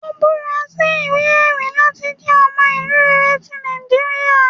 Ò búra sí iwe-ẹri lati jẹ ọmọ ilu rere ti Nijiriria